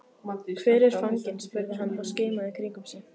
Hvar er fanginn? spurði hann og skimaði í kringum sig.